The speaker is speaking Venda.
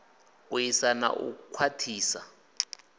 u ḓisa na u khwaṱhisa